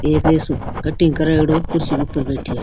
एक कटिंग करायेडो कुर्सी ऊपर बैठे है।